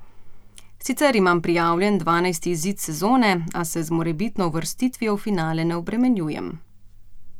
Sicer imam prijavljen dvanajsti izid sezone, a se z morebitno uvrstitvijo v finale ne obremenjujem.